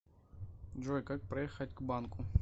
джой как проехать к банку